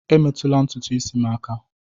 Emetụla ntutu isi m aka!